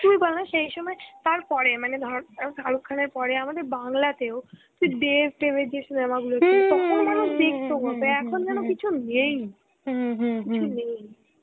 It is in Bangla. তুই বলনা সেই সময়, তারপরে মানে ধর শারুখ খানের পরে, বাংলাতেও তুই দেব-তেবের যে cinema গুলো, তখন মানুষ দেখতো কতো. এখন যেনো কিছু নেই. কিছু নেই.